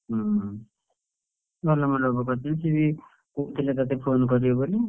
ହୁଁ ଭଲ ମଣ୍ଡପରେ କରିଛନ୍ତି, ସିଏ ବି କହୁଥିଲେ ତତେ phone କରିବେ ବୋଲି।